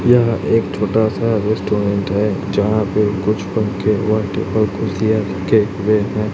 यह एक छोटा सा रेस्टोरेंट है जहां पे कुछ पंखे व टेबल कुर्सिया रखे हुए हैं।